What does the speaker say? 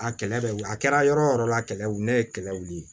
A kɛlɛ bɛ wili a kɛra yɔrɔ o yɔrɔ a kɛlɛli ye kɛlɛ wuli